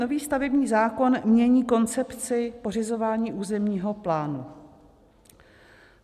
Nový stavební zákon mění koncepci pořizování územního plánu.